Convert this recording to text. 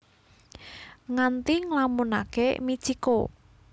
Nganti nglamunake Mitchiko